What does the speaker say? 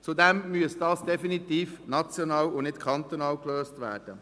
Zudem müsste dies definitiv national und nicht kantonal gelöst werden.